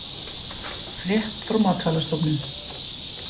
Frétt frá Matvælastofnun